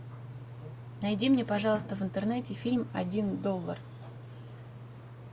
найди мне пожалуйста в интернете фильм один доллар